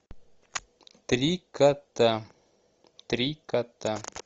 три кота три кота